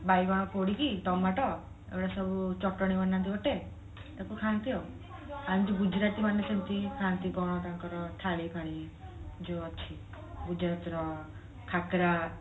ବାଇଗଣ ପୋଡିକି ଟମାଟ ଏଇଗୋଡା ସବୁ ଚଟଣି ବନାନ୍ତି ଗୋଟେ ୟାକୁ ଖାଆନ୍ତି ଆଉ ଖାଆନ୍ତି ଗୁଜୁରାତି ମାନେ ସେମିତି ଖାଆନ୍ତି କଣ ତାଙ୍କର ଥାଏ ଯୋଉ ଅଛି ଗୁଜୁରାତିର ଖାକରା